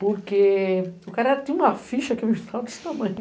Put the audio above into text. Porque o cara tinha uma ficha que me desse tamanho.